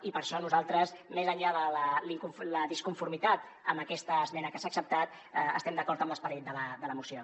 i per això nosaltres més enllà de la disconformitat amb aquesta esmena que s’ha acceptat estem d’acord amb l’esperit de la moció